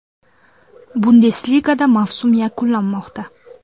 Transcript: Bundesligada mavsum yakunlanmoqda.